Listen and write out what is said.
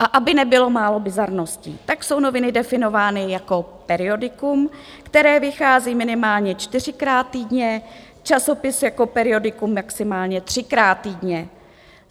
A aby nebylo málo bizarností, tak jsou noviny definovány jako periodikum, které vychází minimálně čtyřikrát týdně, časopis jako periodikum maximálně třikrát týdně.